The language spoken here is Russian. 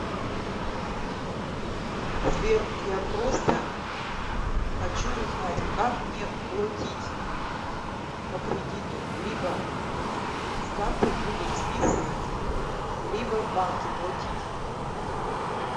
сбер я просто хочю узнать как мне плотить по кредиту либо с карты будут списывать либо в банки плотить